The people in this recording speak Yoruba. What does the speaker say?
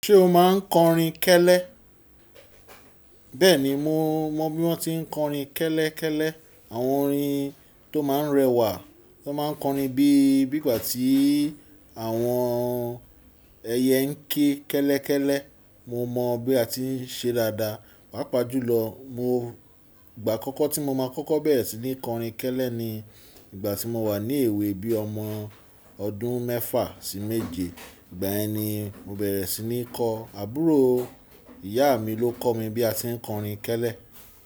Ṣé o máa ń kọrin kẹ́lẹ́? Bẹ́ẹ̀ni, mo mọ bí wọ́n tí ń kọrin kẹ́lẹ́ kẹ́lẹ́, àwọn orin tó máa ń rẹwà, wọn máa ń kọrin bí, bí gbà tí àwọn ẹyẹ ń ké kẹ́lẹ́ kẹ́lẹ́. Mo mọ bí a ti ń ṣe dáadáa. Pápa jùlọ, mo ìgbà àkọ́kọ́ tí mo máa kọ́kọ́ bẹ̀rẹ̀ sí ní kọrin kẹ́lẹ́ ni ìgbà tí mo wà ní èwe bíi ọmọ ọdún mẹ́fà sí méje. Ìgbàyen ni mo bẹ̀rẹ̀ sí ní kọ, àbúrò ìyá mi ló kọ mi bí a ti ń kọrin kẹ́lẹ́